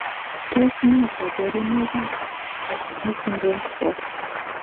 Tos nee koborunoikab FG syndrome 4?